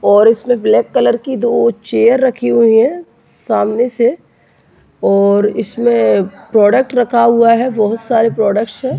और उसमें black colour की दो चेयर रखी हुई हैं सामने से और इसमें प्रोडक्ट रखा हुआ है बहुत सारे प्रोडक्ट्स हैं।